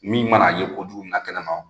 Min mana a ye kojugu min na kɛnɛma.